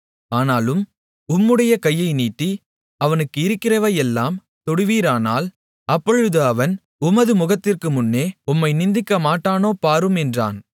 ஆனாலும் உம்முடைய கையை நீட்டி அவனுக்கு இருக்கிறவையெல்லாம் தொடுவீரானால் அப்பொழுது அவன் உமது முகத்திற்கு முன்னே உம்மை நிந்திக்கமாட்டானோ பாரும் என்றான்